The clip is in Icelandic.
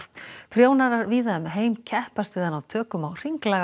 prjónarar víða um heim keppast við að ná tökum á hringlaga